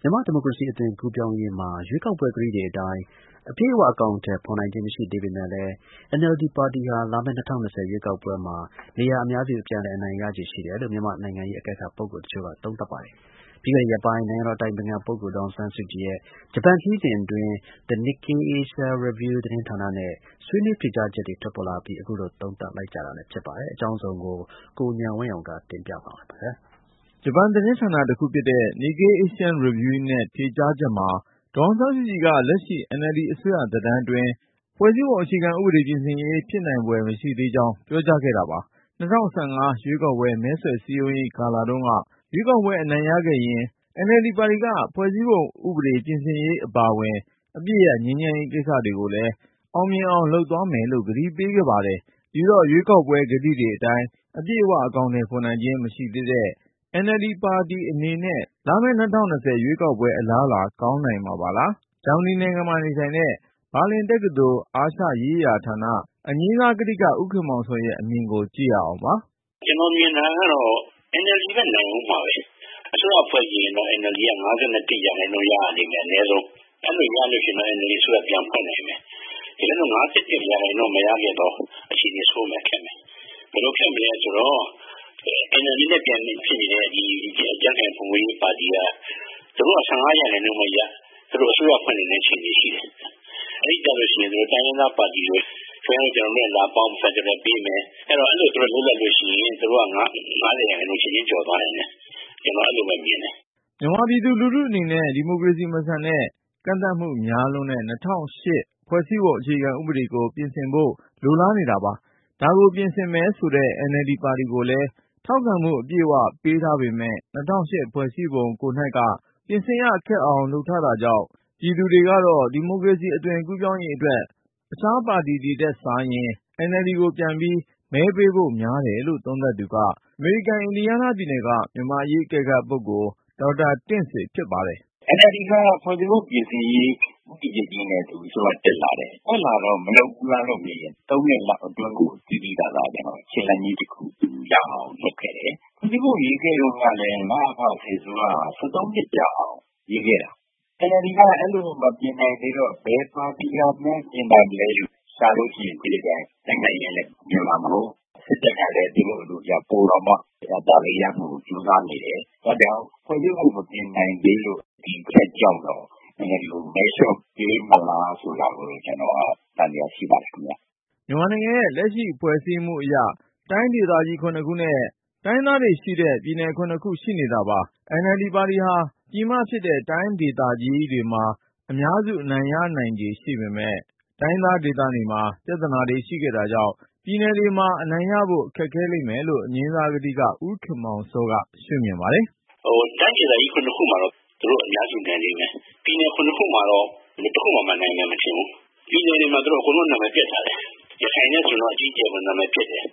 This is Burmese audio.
မြန်မာ့ဒီမိုကရေစီ အသွင်ကူးပြောင်းရေးမှာ ရွေးကောက်ပွဲကတိတွေအတိုင်း အပြည့်အဝ အကောင်အထည်ဖေါ်နိုင်ခြင်း မရှိသေးပေမယ့်လည်း NLD ပါတီဟာ လာမယ့် ၂၀၂၀ ရွေးကောက်ပွဲမှာ နေရာအများစု ပြန်လည် အနိုင်ရခြေ ရှိတယ်လို့ မြန်မာ့နိုင်ငံရေး အကဲခတ်ပုဂ္ဂိုလ်တချို့က သုံးသပ်ပါတယ်။ ပြီးခဲ့တဲ့ရက်ပိုင်း နိုင်ငံတော်အတိုင်ပင်ခံပုဂ္ဂိုလ် ဒေါ်အောင်ဆန်းစုကြည်ရဲ့ ဂျပန်ခရီးစဉ်အတွင်း Nikkei Asian Review သတင်းဌာနနဲ့ ဆွေးနွေးဖြေကြားချက်တွေ ထွက်ပေါ်လာအပြီး အခုလို သုံးသပ်လိုက်ကြတာလည်း ဖြစ်ပါတယ်။ အကြောင်းစုံကို ကိုဉာဏ်ဝင်းအောင်က တင်ပြမှာပါ။ ဂျပန်သတင်းဌာနတခုဖြစ်တဲ့ Nikkei Asian Review နဲ့ ဖြေကြားချက်မှာ ဒေါ်အောင်ဆန်းစုကြည်က လက်ရှိ NLD အစိုးရသက်တမ်းအတွင်း ဖွဲ့စည်းပုံအခြေခံဥပဒေ ပြင်ဆင်ရေး ဖြစ်နိုင်ဖွယ် မရှိသေးကြောင်း ပြောကြားခဲ့တာပါ။ ၂၀၁၅ ရွေးကောက်ပွဲ မဲဆွယ်စည်းရုံးရေးကာလတုန်းက ရွေးကောက်ပွဲအနိုင်ရခဲ့ရင် NLD ပါတီက ဖွဲ့စည်းပုံဥပဒေ ပြင်ဆင်ရေးအပါအဝင် အပစ်ရပ်ငြိမ်းချမ်းရေးကိစ္စကိုလည်း အောင်မြင်အောင် လုပ်သွား မယ်လို့ ကတိပေးခဲ့ပါတယ်။ ဒီတော့ ရွေးကောက်ပွဲကတိတွေအတိုင်း အပြည့်အဝ အကောင်အထည်ဖေါ်နိုင်ခြင်း မရှိသေးတဲ့ NLD ပါတီ အနေနဲ့ လာမယ့် ၂၀၂၀ ရွေးကောက်ပွဲ အလားအလာ ကောင်းနိုင်မှာပါလား။ ဂျာမနီနိုင်ငံမှာနေထိုင်တဲ့ ဘာလင်တက္ကသိုလ် အာရှရေးရာဌာန အငြိမ်းစားကထိက ဦးခင်မောင်စောရဲ့ အမြင်ကိုကြည့်ရအောင်ပါ။ “ကျနော်မြင်တာကတော့ NLD ပဲ နိုင်ဦးမှာပဲ။ အစိုးရဖွဲ့ချင်ရင်တော့ NLD က ၅၁ ရာခိုင်နှုန်း ရရလိမ့်မယ် အနည်းဆုံး ။ အဲလိုရရင်တော့ NLD က အစိုးရ ပြန်ဖွဲ့နိုင်မယ်။ တကယ်လို့ ၅၁ ရာခိုင်နှုန်းမရခဲ့သော် အခြေအနေဆိုးမယ်၊ ခက်မယ်။ ဘယ်လိုခက်ခဲမလဲဆိုတော့ NLD နဲ့ ပြိုက်ဘက်ဖြစ်နေတဲ့ ကြံ့ခိုင်ဖွံ့ဖြိုးရေးပါတီ သူတို့က ၁၅ ရာခိုင်နှုန်းပဲရဦးတော့ သူတို့က အစိုးရ ဖွဲ့နိုင်တဲ့အခြေအနေရှိမယ်။ အဲဒီခါကျရင် သူတို့က တိုင်းရင်းသား ပါတီတွေကို ခင်ဗျားတို့ ကျနော်တို့နဲ့လာပေါင်း ဖယ်ဒရယ်ပေးမယ် ဆိုပြီးတော့ လုပ်လိုက်ရင် သူတို့က ၅၀ ရာခိုင်နှုန်း ချက်ချင်းကျော်သွားနိုင်တယ် ကျနော်အဲလိုပဲ မြင်တယ်။” မြန်မာပြည်သူလူထု အနေနဲ့ကတော့ ဒီမိုကရေစီ မဆန်တဲ့ ၊ ကန့်သတ်မှုတွေ များပြားလွန်းတဲ့ ၂၀၀၈ ဖွဲ့စည်းပုံအခြေခံ ဥပဒေကို ပြင်ဆင်ဖို့ လိုလားနေတာပါ။ ဒါကိုပြင်ဆင်မယ်ဆိုတဲ့ NLD ပါတီကိုလည်း ထောက်ခံမှု အပြည့်အဝ ပေးထားပေမဲ့ ၂၀၀၈ ဖွဲ့စည်းပုံကိုယ်နှိုက်က ပြင်ဆင်ရ ခက်အောင် လုပ်ထားတာကြောင့် ပြည်သူတွေကတော့ ဒီမိုကရေစီအသွင်ကူးပြောင်းရေးအတွက် အခြားပါတီတွေထက်စာရင် NLD ကို ပြန်ပြီး မဲပေးဖို့များတယ်လို့ သုံးသပ်သူက အမေရိကန် အင်ဒီယားနားပြည်နယ်က မြန်မာ့အရေးအကဲခတ်ပုဂ္ဂိုလ် ဒေါက်တာ တင့်ဆွေဖြစ်ပါတယ်။ “NLD က ဖွဲ့စည်းပုံပြင်ဆင်ရေး ဦးတည်ချက်ကြီးနဲ့အစိုးရ တက်လာတယ်၊ တက်လာတော့ မလုပ်ဘူးလားလို့မေးရင် ၃ နှစ်လောက်အတွင်းကို သိသိသာသာ ခြေလှမ်းကြီး တခုရအောင် လုပ်ခဲ့တယ်။ ဖွဲ့စည်းပုံရေးခဲ့တုန်းကလည်း နအဖ စစ်အစိုးရက ၁၃ နှစ်ကြာအောင် ရေးခဲ့တာ။ NLD က အဲလိုမပြင်နိုင်သေးတော့ ဘယ်ပါတီကများ ပြင်မလဲလို့ရှာရင် ကြံ့ခိုင်ရေးကလည်း ပြင်မှာမဟုတ်ဘူး၊ စစ်တပ်ကလည်း သူတို့ အလိုကျဖြစ်အောင် ကြိုးစားနေတယ် ။ အဲဒါကြောင့် ဖွဲ့စည်းပုံမပြင်နိုင်သေးလို့ ဆိုတဲ့အချက်ကြောင့် NLD ကို မဲလျော့ပေးမလားဆိုတာကိုတော့ ကျနော် သံသယ ရှိပါတယ်။” မြန်မာနိုင်ငံရဲ့ လက်ရှိဖွဲ့စည်းမှုအရ တိုင်းဒေသကြီး (၇)ခုနဲ့ တိုင်းရင်းသားတွေရှိတဲ့ ပြည်နယ်(၇)ခု ရှိနေတာပါ။ NLD ပါတီဟာ ပြည်မဖြစ်တဲ့ တိုင်းဒေသကြီးတွေမှာ အများစု အနိုင်ရနိုင်ခြေရှိပေမဲ့ တိုင်းရင်းသားဒေသတွေမှာ ပြဿနာတွေ ရှိခဲ့တာကြောင့် ပြည်နယ်တွေမှာ အနိုင်ရဖို့ ခက်ခဲလိမ့်မယ်လို့ အငြိမ်းစားကထိက ဦးခင်မောင်စောက ရှုမြင်ပါတယ်။ “တိုင်းဒေသကြီး (၇)ခုမှာတော့ သူတို့ အများစုနိုင်လိမ့်မယ်။ ပြည်နယ် ၇ ခုမှာတော့ တခုမှ နိုင်မယ်မထင်ဘူး။ ပြည်နယ်တွေမှာ အကုန်လုံးသူတို့ နာမည်ပျက်ထားတယ်။ ရခိုင်နဲ့ဆိုရင် အကြီးအကျယ် နာမည်ပျက်တယ်